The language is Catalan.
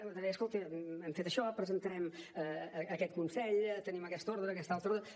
deia escolti hem fet això presentarem aquest consell tenim aquesta ordre aquesta altra ordre